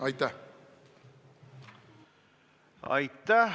Aitäh!